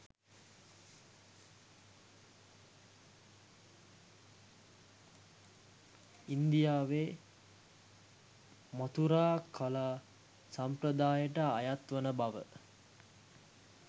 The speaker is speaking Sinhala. ඉන්දියාවේ මථුරා කලා සම්ප්‍රදායට අයත් වන බව